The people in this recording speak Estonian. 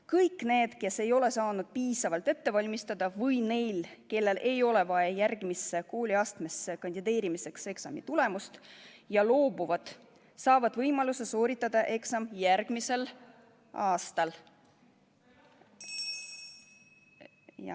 Kõik need, kes ei ole saanud piisavalt ette valmistada, või need, kellel ei ole vaja järgmisse kooliastmesse kandideerimiseks eksami tulemust ja loobuvad, saavad võimaluse sooritada eksam järgmisel aastal.